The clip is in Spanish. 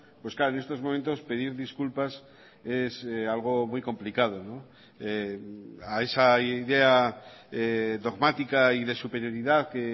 pues claro en estos momentos pedir disculpas es algo muy complicado a esa idea dogmática y de superioridad que